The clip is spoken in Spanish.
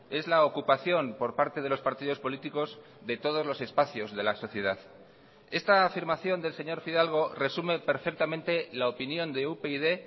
es la ocupación por parte de los partidos políticos de todos los espacios de la sociedad esta afirmación del señor fidalgo resume perfectamente la opinión de upyd